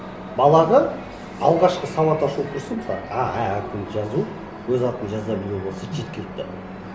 балаға алғашқы сауат ашу курсы мысалы а ә әрпін жазу өз атын жаза білу болса жеткілікті